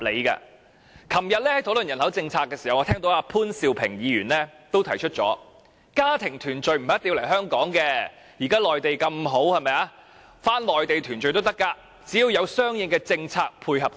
昨天，在討論人口政策時，我聽到潘兆平議員也提出，家庭團聚不一定要來香港，現時內地環境這麼好，返回內地團聚亦無不可，只要有相應政策配合。